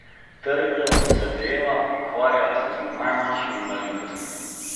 Trdo se dela, ukvarja se z najmanjšimi malenkostmi.